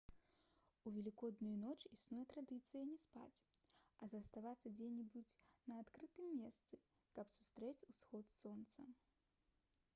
у велікодную ноч існуе традыцыя не спаць а заставацца дзе-небудзь на адкрытым месцы каб сустрэць усход сонца